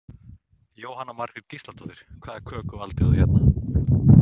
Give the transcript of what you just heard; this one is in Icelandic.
Jóhanna Margrét Gísladóttir: Hvaða köku valdirðu hérna?